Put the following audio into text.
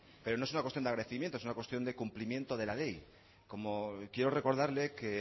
pero no es una cuestión de agradecimiento es una cuestión de cumplimiento de la ley como quiero recordarle que